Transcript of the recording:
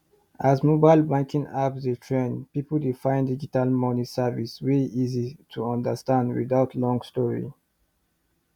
as mobile banking apps dey trend people dey find digital money service wey easy to understand without long story